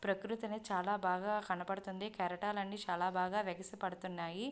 ప్రకృతిని చాలా బాగా కనపడుతున్నాయి కెరటాలు బాగా ఎగిసి పడుతున్నాయి.